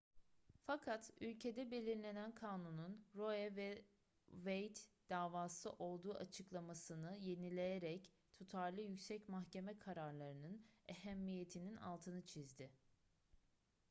fakat ülkede belirlenen kanunun roe v wade davası olduğu açıklamasını yineleyerek tutarlı yüksek mahkeme kararlarının ehemmiyetinin altını çizdi